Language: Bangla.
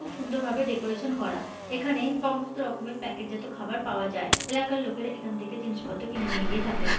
খুব সুন্দর ভাবে ডেকোরেশন করা । এখানে সমস্ত রকমের প্যাকেটজাত খাওয়ার পাওয়া যায়। এলাকার লোকেরা এখান থেকে জিনিস পত্র কিনে নিয়ে গিয়ে থাকেন।